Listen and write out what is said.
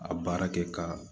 A baara kɛ ka